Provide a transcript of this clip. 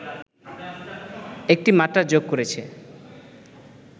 একটি মাত্রা যোগ করেছে